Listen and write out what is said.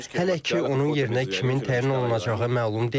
Hələ ki, onun yerinə kimin təyin olunacağı məlum deyil.